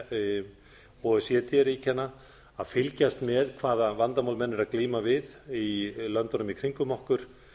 o e c d ríkjanna að fylgjast með hvaða vandamál menn eru að glíma við í löndunum í kringum okkur